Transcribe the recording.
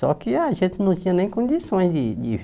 Só que a gente não tinha nem condições de de